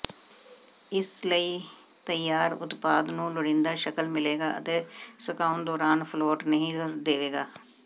ਇਸ ਲਈ ਤਿਆਰ ਉਤਪਾਦ ਨੂੰ ਲੋੜੀਦਾ ਸ਼ਕਲ ਮਿਲੇਗਾ ਅਤੇ ਸੁਕਾਉਣ ਦੌਰਾਨ ਫਲੋਟ ਨਹੀਂ ਦੇਵੇਗਾ